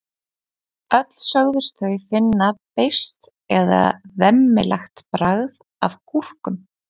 Öll sögðust þau finna beiskt eða vemmilegt bragð af gúrkum.